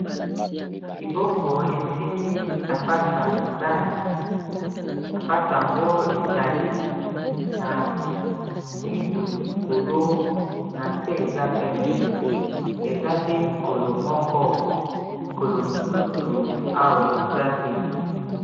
liboko esimbi sapato ya mibali sapato yango ezali na mwindu likolo na se eza pembe eza nde likolo moko likolo mosusu awa eza te